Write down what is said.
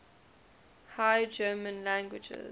high german languages